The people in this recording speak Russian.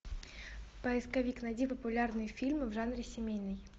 поисковик найди популярные фильмы в жанре семейный